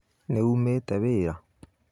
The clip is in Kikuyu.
Nĩ nyumĩte wĩra